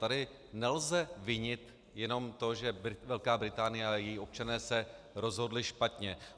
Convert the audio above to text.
Tady nelze vinit jenom to, že Velká Británie a její občané se rozhodli špatně.